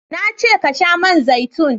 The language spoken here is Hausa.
na ce ka sha man zaitun!